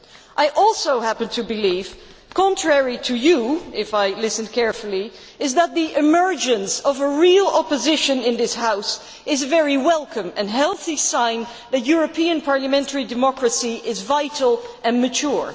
I also happen to believe, contrary to you, if I listened carefully, that the emergence of a real opposition in this House is very welcome and a healthy sign that European parliamentary democracy is vital and mature.